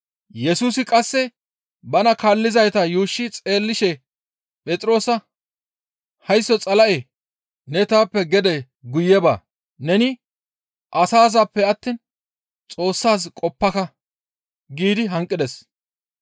Yesusi qasse bana kaallizayta yuushshi xeellishe Phexroosa, «Haysso Xala7e ne taappe gede guye ba! Neni asazaappe attiin Xoossaaz qoppaka!» giidi hanqides.